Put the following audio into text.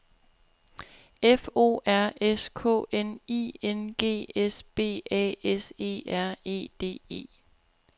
F O R S K N I N G S B A S E R E D E